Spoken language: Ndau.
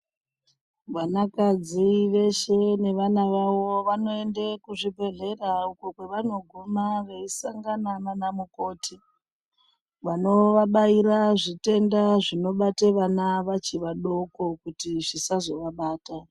Vanakadzi veshe nevana vavo vanoende kuzvibhedhlera uko kwevanoguma veisangana naana mukoti vanovabaira zvitenda zvinobate vana vachi vadoko kuti zvisazovabata.